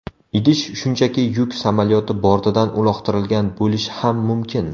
Idish shunchaki yuk samolyoti bortidan uloqtirilgan bo‘lishi ham mumkin.